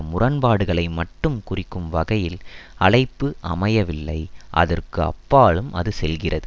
முரண்பாடுகளை மட்டும் குறிக்கும் வகையில் அழைப்பு அமையவில்லை அதற்கு அப்பாலும் அது செல்கிறது